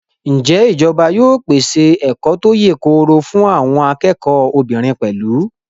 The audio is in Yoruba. Ǹjẹ́ ìjọba yóò pèsè ẹ̀kọ́ tó yèkoro fún àwọn akẹ́kọ̀ọ́ obìnrin pẹ̀lú?